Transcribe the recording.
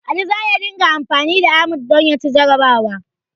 Ali za ya dinga anfani da Ahmad don ya ci jarrabawa.